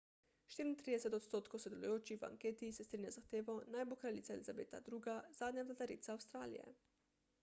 34 odstotkov sodelujočih v anketi se strinja z zahtevo naj bo kraljica elizabeta ii zadnja vladarica avstralije